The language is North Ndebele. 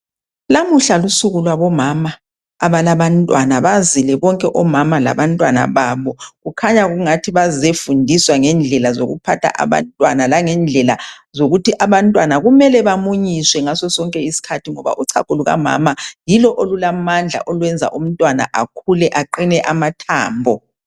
Lamuhla lusuku lwabomama abalabantwana bazile bonke omama labantwana babo kukhanya ngathi bazefundiswa ngendlela zokuphatha abantwana langendlela zokuthi abantwana kumele bamunyiswe ngasosonke isikhathi ngoba uchago lukamama yilo olulamandla olwenza umntwana akhule aqine amathambo.